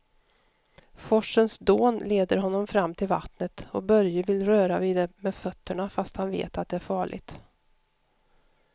Forsens dån leder honom fram till vattnet och Börje vill röra vid det med fötterna, fast han vet att det är farligt.